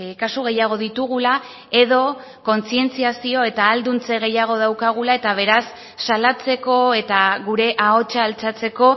kasu gehiago ditugula edo kontzientziazio eta ahalduntze gehiago daukagula eta beraz salatzeko eta gure ahotza altxatzeko